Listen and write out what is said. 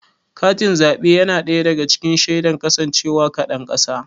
Katin zaɓe yana ɗaya daga cikin shaidar kasancewar ka ɗan ƙasa.